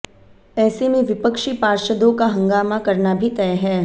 ऐसे में विपक्षी पार्षदों का हंगामा करना भी तय है